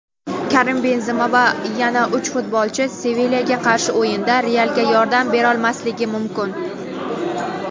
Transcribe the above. Karim Benzema va yana uch futbolchi "Sevilya"ga qarshi o‘yinda "Real"ga yordam berolmasligi mumkin.